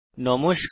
নমস্কার